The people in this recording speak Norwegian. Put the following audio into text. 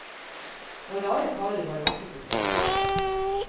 Og rare karer var det også som kom.